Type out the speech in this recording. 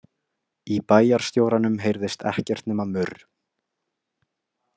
Í bæjarstjóranum heyrðist ekkert nema murr.